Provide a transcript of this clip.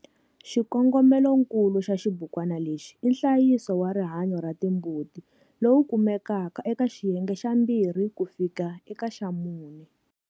Xikongomeloikulu xa xibukwana lexi i nhlayiso wa rihanyo ra timbuti lowu kumekaka eka xiyenge xa 2-4.